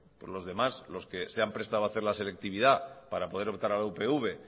los demás los que se han prestado a hacer la selectividad para poder optar a la upv